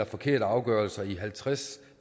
forkerte afgørelser i halvtreds